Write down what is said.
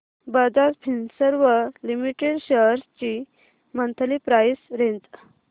Bajaj Finserv limited shares ची monthly price range